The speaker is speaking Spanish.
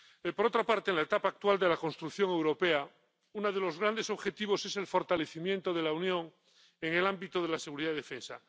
Por otra parte, en la etapa actual de la construcción europea, uno de los grandes objetivos es el fortalecimiento de la Unión en el ámbito de la seguridad y defensa.